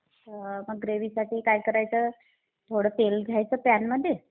मग ग्रेव्हीसाठी काय करायचं? थोडं तेल घ्यायचं पॅनमध्ये.